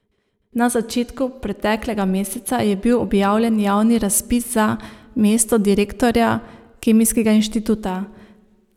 Na začetku preteklega meseca je bil objavljen javni razpis za mesto direktorja Kemijskega inštituta.